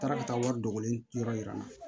N taara ka taa wari dogolen yɔrɔ yira n na